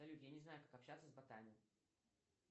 салют я не знаю как общаться с ботами